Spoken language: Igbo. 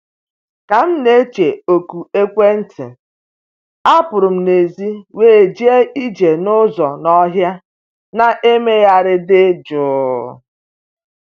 Ka m na-eche oku ekwentị, apụrụ m n'èzí wee jee ije n’ụzọ n'ọhịa na-emegharị dị jụụ